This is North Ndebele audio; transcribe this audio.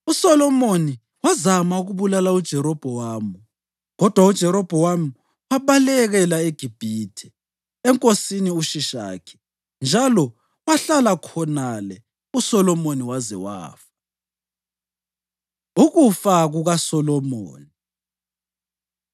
USolomoni wazama ukubulala uJerobhowamu kodwa uJerobhowamu wabalekela eGibhithe, enkosini uShishakhi, njalo wahlala khonale uSolomoni waze wafa. Ukufa KukaSolomoni